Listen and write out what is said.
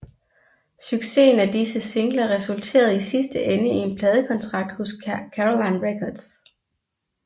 Succesen af disse singler resulterede i sidste ende i en pladekontrakt hos Caroline Records